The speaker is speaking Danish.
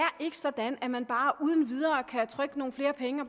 sådan at man ikke bare uden videre kan trykke nogle flere penge og